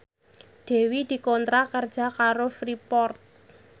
Dewi dikontrak kerja karo Freeport